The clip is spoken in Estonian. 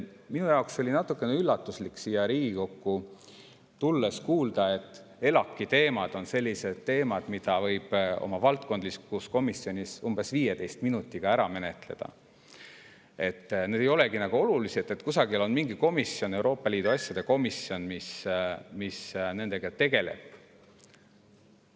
Minu jaoks oli natukene üllatuslik siia Riigikokku tulles kuulda, et ELAK‑i teemad on sellised, mille võib valdkondlikus komisjonis umbes 15 minutiga ära menetleda, et need ei olegi nagu olulised, sest kusagil on mingi komisjon – Euroopa Liidu asjade komisjon –, mis nendega tegeleb.